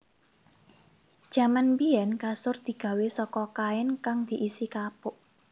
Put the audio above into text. Jaman biyèn kasur digawé saka kain kang diisi kapuk